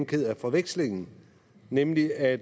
ked af forvekslingen nemlig at